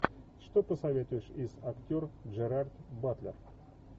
что посоветуешь из актер джерард батлер